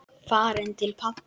Farin til pabba.